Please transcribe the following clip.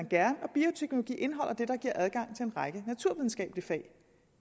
gerne og bioteknologi indeholder det der giver adgang til en række naturvidenskabelige fag